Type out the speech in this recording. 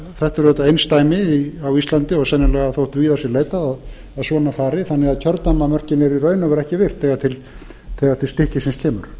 þetta er auðvitað einsdæmi á íslandi og sennilega þótt víðar sé leitað að svona fari þannig að kjördæmamörkin eru í raun og veru ekki virt þegar til stykkisins